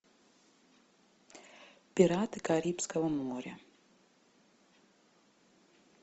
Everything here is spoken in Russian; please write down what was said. пираты карибского моря